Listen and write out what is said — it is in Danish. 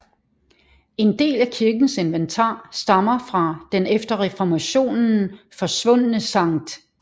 En del af kirkens inventar stammer fra den efter reformationen forsvundne Sct